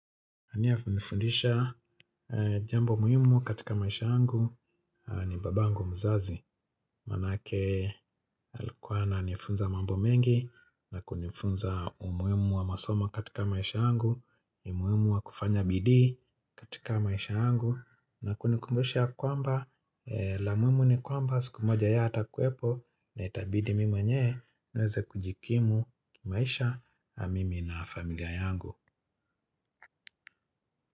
Aliyenifundisha jambo muhimu katika maisha yangu ni babangu mzazi. Maanake alikuwa ananifunza mambo mengi na kunifunza umuhimu wa masomo katika maisha yangu, umuhimu wa kufanya bidii katika maisha yangu na kunikumbusha kwamba la muhimu ni kwamba siku moja yeye hatakuwepo na itabidi mimi mwenyewe niweze kujikimu kimaisha mimi na familia yangu.